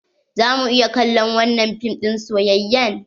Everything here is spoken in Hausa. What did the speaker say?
Za mu iya kallon wanan fim din soyayyan?